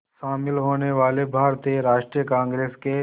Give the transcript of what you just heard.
शामिल होने वाले भारतीय राष्ट्रीय कांग्रेस के